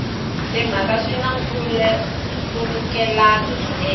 timhaka swi na nkhulukelano swinene